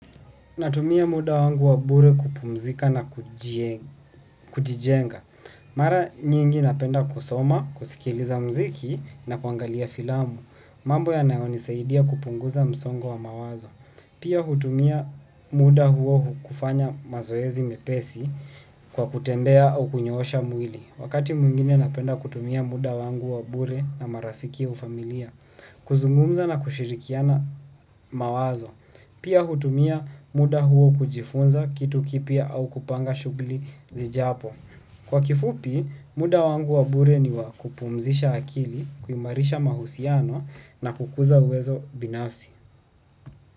Natumia muda wangu wa bure kupumzika na kujijenga. Mara nyingi napenda kusoma, kusikiliza muziki na kuangalia filamu. Mambo yanayonisaidia kupunguza msongo wa mawazo. Pia hutumia muda huo kufanya mazoezi mepesi kwa kutembea au kunyoosha mwili. Wakati mwingine napenda kutumia muda wangu wa bure na marafiki au familia. Kuzungumza na kushirikiana mawazo. Pia hutumia muda huo kujifunza kitu kipya au kupanga shughuli zijapo. Kwa kifupi, muda wangu wa bure ni wa kupumzisha akili, kuimarisha mahusiano na kukuza uwezo binafsi.